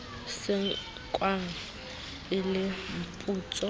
se nkwang e le mputso